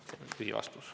See oli lühivastus.